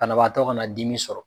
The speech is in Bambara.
Banabaatɔ ka naa dimi sɔrɔ.